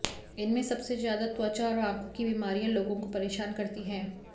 इनमें सबसे ज्यादा त्वचा और आंखों की बीमारियां लोगों को परेशान करती हैं